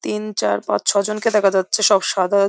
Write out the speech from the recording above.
তিন চার পাঁচ ছয় জনকে দেখা যাচ্ছে সাদা।